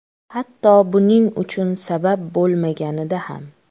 Hatto buning uchun sabab bo‘lmaganida ham.